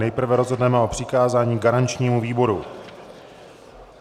Nejprve rozhodneme o přikázání garančnímu výboru.